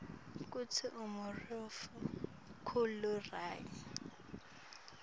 kutsi umurifu ukhula ryani